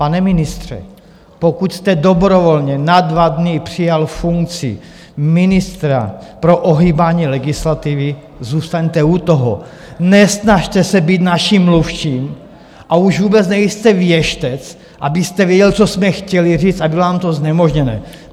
Pane ministře, pokud jste dobrovolně na dva dny přijal funkci ministra pro ohýbání legislativy, zůstaňte u toho, nesnažte se být naším mluvčím, a už vůbec nejste věštec, abyste věděl, co jsme chtěli říct, a bylo nám to znemožněno!